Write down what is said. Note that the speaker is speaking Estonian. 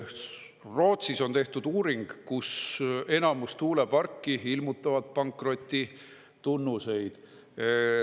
Rootsis on tehtud uuring, kus enamus tuuleparke ilmutavad pankrotitunnuseid.